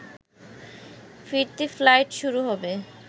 ফিরতি ফ্লাইট শুরু হবে